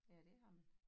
Ja det har man